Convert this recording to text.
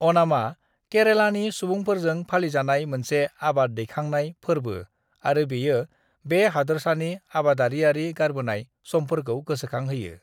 अणामा केरेलानि सुबुंफोरजों फालिजानाय मोनसे आबाद दैखांनाय फोर्बो आरो बेयो बे हादोरसानि आबादारियारि गारबोनाय समफोरखौ गोसोखांहोयो।